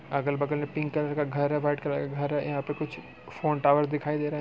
अगल-बगल pink colour का घर है व्हाइट कलर का घर हैं। यहाँ पे कुछ फोन टॉवर दिखाई दे रहे हैं।